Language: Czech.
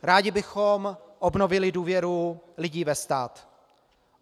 Rádi bychom obnovili důvěru lidí ve stát.